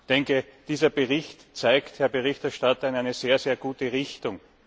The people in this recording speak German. Und ich denke dieser Bericht weist, Herr Berichterstatter, in eine sehr, sehr gute Richtung.